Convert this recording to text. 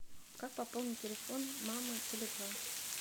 как пополнить телефон мамы теле два